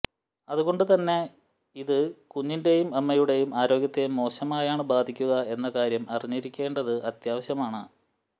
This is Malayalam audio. അതുകൊണ്ട് തന്നെ ഇത് കുഞ്ഞിന്റേയും അമ്മയുടേയും ആരോഗ്യത്തെ മോശമായാണ് ബാധിക്കുക എന്ന കാര്യം അറിഞ്ഞിരിക്കേണ്ടത് അത്യാവശ്യമാണ്